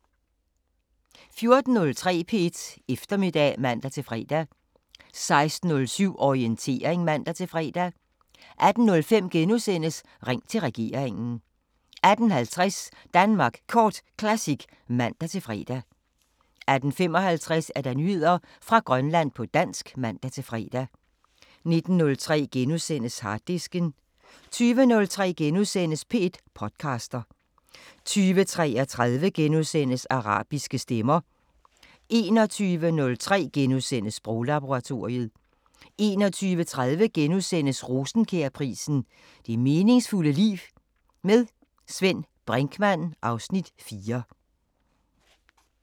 14:03: P1 Eftermiddag (man-fre) 16:07: Orientering (man-fre) 18:05: Ring til regeringen * 18:50: Danmark Kort Classic (man-fre) 18:55: Nyheder fra Grønland på dansk (man-fre) 19:03: Harddisken * 20:03: P1 podcaster * 20:33: Arabiske Stemmer * 21:03: Sproglaboratoriet * 21:30: Rosenkjærprisen: Det meningsfulde liv. Med Svend Brinkmann (Afs. 4)*